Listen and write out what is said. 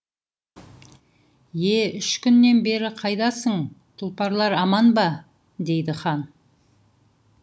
е үш күннен бері қайдасың тұлпарлар аман ба дейді хан